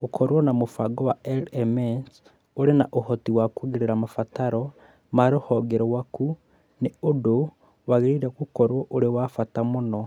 Gũkorũo na mũbango wa LMS ũrĩ na ũhoti wa kũongerera mabataro ma rũhonge rwaku nĩ ũndũ wagĩrĩirũo gũkorũo ũrĩ wa bata mũno.